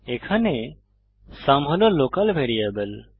এখানে সুম হল local variable